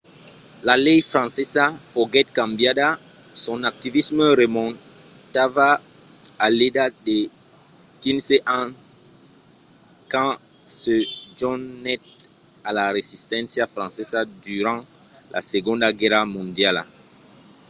la lei francesa foguèt cambiada. son activisme remontava a l’edat de 15 ans quand se jonhèt a la resisténcia francesa durant la segonda guèrra mondiala